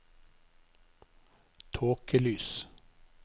tåkelys